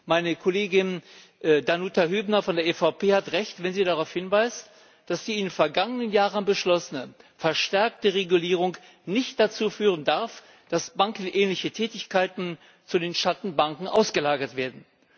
Meine Kollegin Danuta Hübner von der EVP Fraktion hat Recht, wenn sie darauf hinweist, dass die in den vergangenen Jahren beschlossene verstärkte Regulierung nicht dazu führen darf, dass bankenähnliche Tätigkeiten zu den Schattenbanken ausgelagert werden.